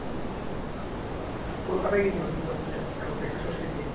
কলকাতায় গিয়েছিলাম দুর্গাপুজোয় ঠাকুর দেখতে ষষ্ঠীর দিন